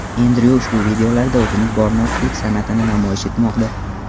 Endryu ushbu videolarda o‘zining bor notiqlik san’atini namoyish etmoqda.